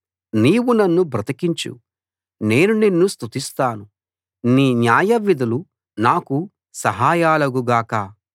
నీవు నన్ను బ్రతికించు నేను నిన్ను స్తుతిస్తాను నీ న్యాయవిధులు నాకు సహాయాలగు గాక